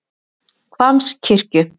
Hvammskirkju